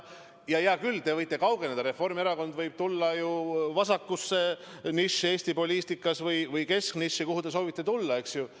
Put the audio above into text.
Ja hea küll, te võite kaugeneda, Reformierakond võib tulla ju vasakusse nišši Eesti poliitikas või kesknišši, kuhu te soovite tulla, eks ju.